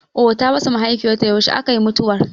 Ohh ta rasa mahaifiyar ta, yaushe aka yi mutuwar?